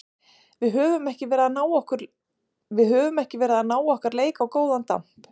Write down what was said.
Við höfum ekki verið að ná okkar leik á góðan damp.